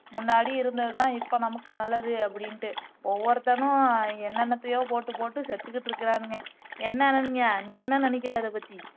முன்னாடி இருந்ததுதான் இப்போ நமக்கு நல்லது அப்படின்னுட்டு ஒவ்வொருத்தனும் என்னன்னத்தயோ போட்டு போட்டு செத்துக்குட்டு இருக்குறாங்கே என்ன அனன்யா நீ என்ன நெனைக்கிற அத பத்தி